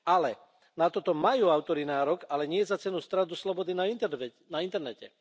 Ale, na toto majú autori nárok, ale nie za cenu straty slobody na internete.